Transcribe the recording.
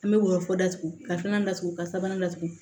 An bɛ woyɔ datugu ka filanan datugu ka sabanan latugu